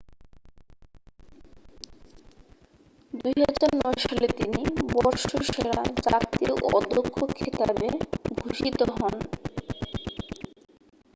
2009 সালে তিনি বর্ষসেরা জাতীয় অধ্যক্ষ খেতাবে ভূষিত হন